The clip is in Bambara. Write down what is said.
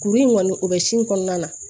Kuru in kɔni o bɛ sin kɔnɔna na